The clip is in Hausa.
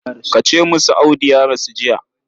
Ka ce musu Audu ya rasu jiya.